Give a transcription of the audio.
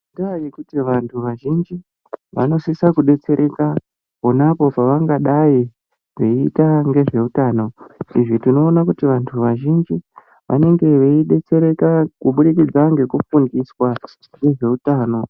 Indaya yekuti vantu vazhinji vanosisa kudetsereka ponapo pavangadayi veita ngezveutano izvi tinoona kuti vantu vazhinji vanenge veidetsereka kubudikidza ngekufundiswa ngezveutano.